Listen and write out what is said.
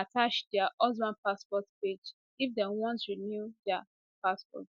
attach dia husband passport page if dem want renew dia passport